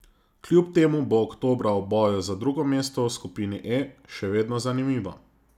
Kljub temu bo oktobra v boju za drugo mesto v skupini E še vedno zanimivo.